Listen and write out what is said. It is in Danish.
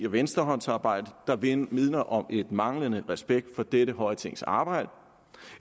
venstrehåndsarbejde der vidner vidner om manglende respekt for dette høje tings arbejde